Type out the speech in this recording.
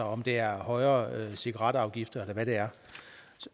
om det er højere cigaretafgifter eller hvad det er